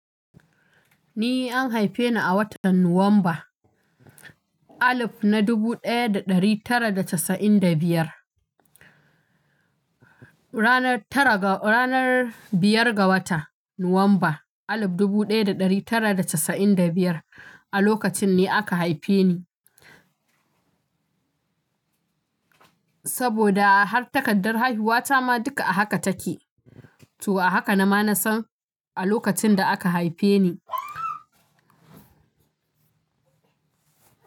Ni an haife ni a watan Nuwamba dubu ɗaya da ɗari tara da casa'in da biyar. Ranar biyar ga wata Nuwamba dubu ɗaya da ɗari tara da casa'in da biyar a lokacin ne aka haife ni. Saboda har takardar haihuwa ta ma duka a haka take. To a haka na ma na san a lokacin da aka haife ni.